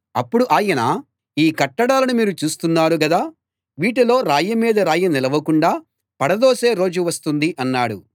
అప్పుడు ఆయన ఈ కట్టడాలను మీరు చూస్తున్నారు గదా వీటిలో రాయి మీద రాయి నిలవకుండా పడదోసే రోజు వస్తుంది అన్నాడు